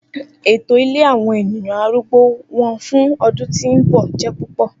Eto ile awọn eniyan arùgbó wọn fun ọdun ti n bọ jẹ pupọ.